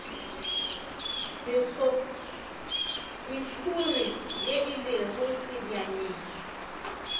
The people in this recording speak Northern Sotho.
mekhuri ye e lego sebjaneng